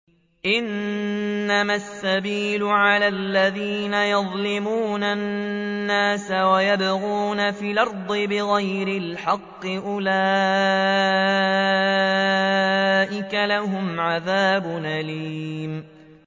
إِنَّمَا السَّبِيلُ عَلَى الَّذِينَ يَظْلِمُونَ النَّاسَ وَيَبْغُونَ فِي الْأَرْضِ بِغَيْرِ الْحَقِّ ۚ أُولَٰئِكَ لَهُمْ عَذَابٌ أَلِيمٌ